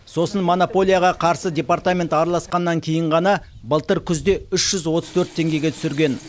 сосын монополияға қарсы департамент араласқаннан кейін ғана былтыр күзде үш жүз отыз төрт теңгеге түсірген